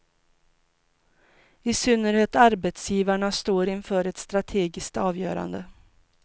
I synnerhet arbetsgivarna står inför ett strategiskt avgörande.